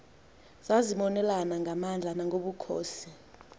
zazimonelana ngamandla nangobukhosi